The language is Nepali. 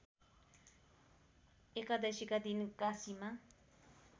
एकादशीका दिन काशीमा